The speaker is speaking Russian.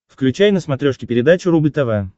включай на смотрешке передачу рубль тв